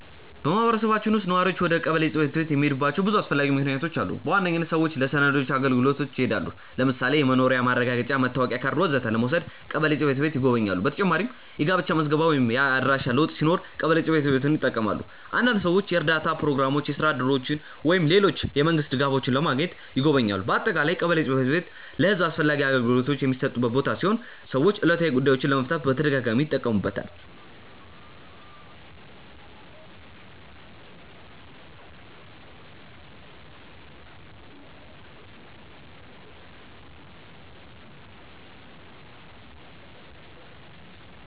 በማህበረሰባችን ውስጥ ነዋሪዎች ወደ ቀበሌ ጽ/ቤት የሚሄዱባቸው ብዙ አስፈላጊ ምክንያቶች አሉ። በዋነኝነት ሰዎች ለሰነዶች አገልግሎት ይሄዳሉ። ለምሳሌ የመኖሪያ ማረጋገጫ፣ መታወቂያ ካርድ ወዘተ ለመውሰድ ቀበሌ ጽ/ቤት ይጎበኛሉ። በተጨማሪም የጋብቻ ምዝገባ ወይም የአድራሻ ለውጥ ሲኖር ቀበሌ ጽ/ቤትን ይጠቀማሉ። አንዳንድ ሰዎች የእርዳታ ፕሮግራሞች፣ የስራ እድሎች ወይም ሌሎች የመንግስት ድጋፎች ለማግኘትም ይጎበኛሉ። በአጠቃላይ ቀበሌ ጽ/ቤት ለህዝብ አስፈላጊ አገልግሎቶችን የሚሰጥ ቦታ ሲሆን ሰዎች ዕለታዊ ጉዳዮቻቸውን ለመፍታት በተደጋጋሚ ይጠቀሙበታል።